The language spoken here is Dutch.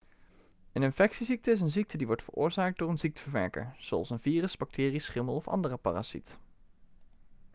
een infectieziekte is een ziekte die wordt veroorzaakt door een ziekteverwekker zoals een virus bacterie schimmel of andere parasiet